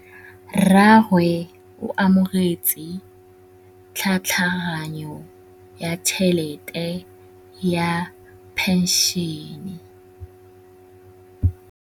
Rragwe o amogetse tlhatlhaganyô ya tšhelête ya phenšene.